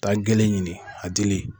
Taa gele ɲini a dili.